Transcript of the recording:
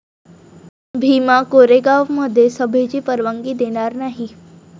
भीमा कोरेगावमध्ये सभेची परवानगी देणार नाही'